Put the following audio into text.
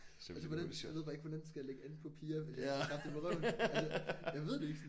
Altså hvordan jeg ved bare ikke hvordan skal jeg lægge an på piger hvis jeg ikke kan klappe dem i røven altså jeg ved det ikke sådan